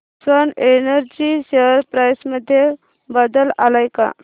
Swan energy share price मध्ये बदल आलाय का